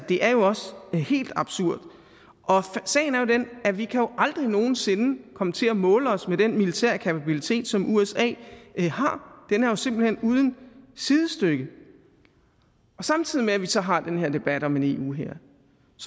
det er jo også helt absurd sagen er den at vi jo aldrig nogen sinde kan komme til at måle os med den militære kapacitet som usa har den er jo simpelt hen uden sidestykke samtidig med vi så har den her debat om en eu hær